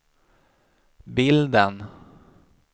bilden